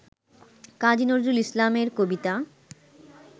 কাজী নজরুল ইসলাম এর কবিতা